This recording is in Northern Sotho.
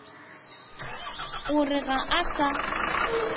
o re ga a sa